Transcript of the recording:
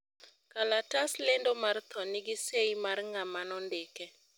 kalatas lendo mar tho nigi seyi mar ngama nondike